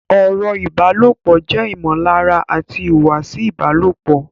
Ọ̀rọ̀ ìbálòpọ̀ jẹ́ ìmọ̀lára àti ìhùwàsí ìbálòpọ̀